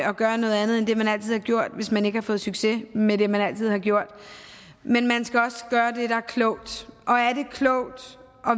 at gøre noget andet end det man altid gjort hvis man ikke har fået succes med det man altid har gjort men man skal også gøre det der er klogt og er det klogt at